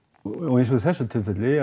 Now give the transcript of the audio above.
eins og í þessu tilfelli